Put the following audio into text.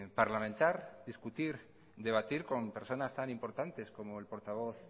parlamentar discutir debatir con personas tan importantes como el portavoz